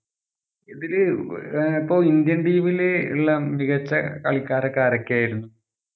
ഇതില് ആഹ് അപ്പൊ indian team ല് ഇള്ള മികച്ച കളിക്കാരൊക്കെ ആരൊക്കെയായിരുന്നു?